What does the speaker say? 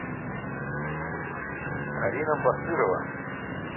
карина басырова